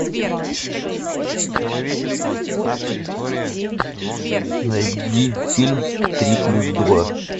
найди фильм три плюс два